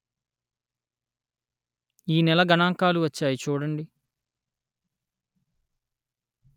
ఈ నెల గణాంకాలు వచ్చాయి చూడండి